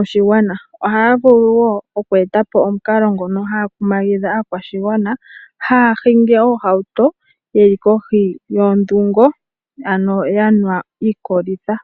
oshigwana. Oha ya vulu woo oku etapo omukalo ngono ha ya kumagidha aakwashigwana haya hingi oohauto ye li kohi yondhungo. Ano yanwa iikolitha.